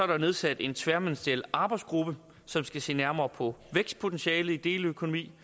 der nedsat en tværministeriel arbejdsgruppe som skal se nærmere på vækstpotentialet i deleøkonomien